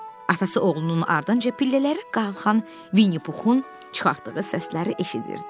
Atası oğlunun ardınca pillələri qalxan Vinnipuxun çıxartdığı səsləri eşidirdi.